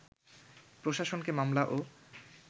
প্রশাসনকে মামলা ও